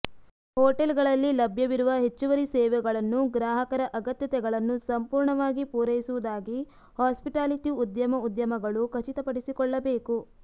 ಹೋಟೆಲ್ಗಳಲ್ಲಿ ಲಭ್ಯವಿರುವ ಹೆಚ್ಚುವರಿ ಸೇವೆಗಳನ್ನು ಗ್ರಾಹಕರ ಅಗತ್ಯತೆಗಳನ್ನು ಸಂಪೂರ್ಣವಾಗಿ ಪೂರೈಸುವುದಾಗಿ ಹಾಸ್ಪಿಟಾಲಿಟಿ ಉದ್ಯಮ ಉದ್ಯಮಗಳು ಖಚಿತಪಡಿಸಿಕೊಳ್ಳಬೇಕು